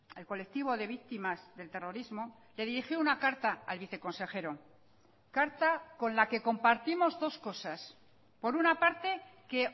el colectivo de víctimas del terrorismo le dirigió una carta al viceconsejero carta con la que compartimos dos cosas por una parte que